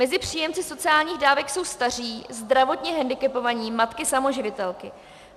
Mezi příjemci sociálních dávek jsou staří, zdravotně hendikepovaní, matky samoživitelky.